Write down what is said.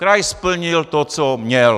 Kraj splnil to, co měl.